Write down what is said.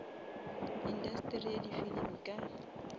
industeri ya di filimi ka